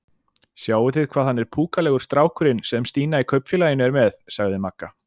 Sjáið þið hvað hann er púkalegur strákurinn sem Stína í Kaupfélaginu er með? sagði Magga.